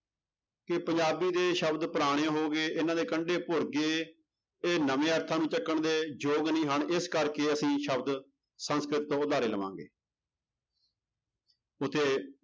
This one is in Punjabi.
ਕਿ ਪੰਜਾਬੀ ਦੇ ਸ਼ਬਦ ਪੁਰਾਣੇ ਹੋ ਗਏ, ਇਹਨਾਂ ਦੇ ਕੰਡੇ ਭੁਰ ਗਏ, ਇਹ ਨਵੇਂ ਅਰਥਾਂ ਨੂੰ ਚੁੱਕਣ ਦੇ ਯੋਗ ਨਹੀਂ ਹਨ ਇਸ ਕਰਕੇ ਅਸੀਂ ਸ਼ਬਦ ਸੰਸਕ੍ਰਿਤ ਤੋਂ ਉਧਾਰੇ ਲਵਾਂਗੇ ਉੱਥੇ